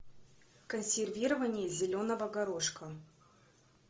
консервирование зеленого горошка